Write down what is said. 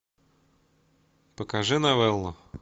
покажи новеллу